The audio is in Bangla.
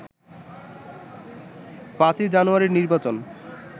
৫ই জানুয়ারির নির্বাচন